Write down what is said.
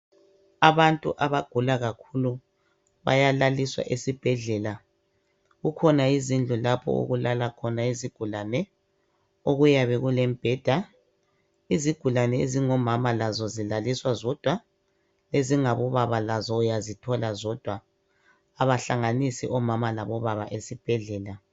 Abantu abagula kakhulu bayalaliswa esibhedlela kukhona izindlu lapho okulala khona izigulane okuyabe kulemibheda izigulane ezingomama lazo zilaliswa zodwa ezingabobaba lazo uyazithola zodwa abahlanganisi omama labobaba esibhedlela.